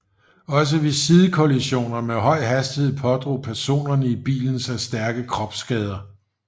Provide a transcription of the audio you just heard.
Også ved sidekollisioner med høj hastighed pådrog personerne i bilen sig stærke kropsskader